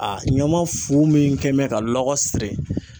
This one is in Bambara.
A ɲama fu min kɛn bɛ ka lɔgɔ siri